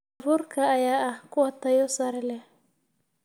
Abuurka ayaa ah kuwa tayo sare leh.